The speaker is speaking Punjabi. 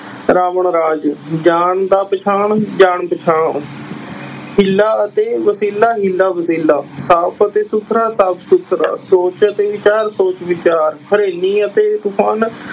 ਰਾਵਣ ਰਾਜ, ਜਾਨ ਦਾ ਪਛਾਣ ਜਾਨ ਪਛਾਣ ਹਿੱਲਾ ਅਤੇ ਵਛੀਲਾ ਹੀਲਾ ਵਛੀਲਾ, ਸਾਫ਼ ਅਤੇ ਸੁੱਥਰਾ ਸਾਫ਼ ਸੁੱਥਰਾ, ਸੋਚ ਅਤੇ ਵਿਚਾਰ ਸੋਚ ਵਿਚਾਰ, ਹਨੇਰੀ ਅਤੇ ਤੂਫ਼ਾਨ